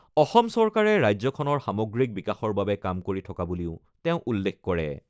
অসম চৰকাৰে ৰাজ্যখনৰ সামগ্ৰিক বিকাশৰ বাবে কাম কৰি থকা বুলিও তেওঁ উল্লেখ কৰে।